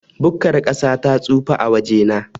Bukkar ƙasa ta tsufa a wajena.